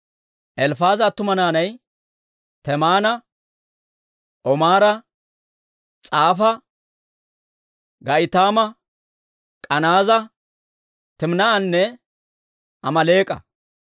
Elifaaza attuma naanay Temaana, Omaara, S'afa, Ga'itaama, K'anaaza, Timinaa'anne Amaaleek'a.